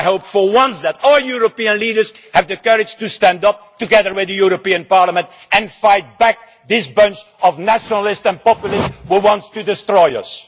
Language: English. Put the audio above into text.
I hope for once that all European leaders have the courage to stand up together with the European Parliament and fight back against this bunch of nationalists and populists who want to destroy us.